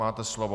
Máte slovo.